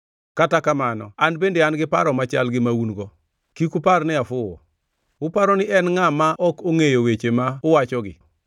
Kata kamano an bende an gi paro machal gi ma un-go; kik upar ni afuwo. Uparo ni en ngʼa ma ok ongʼeyo weche ma uwachogi?